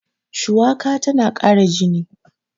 shuwaka tana Kara jini